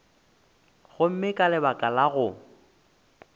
gomme ka baka la go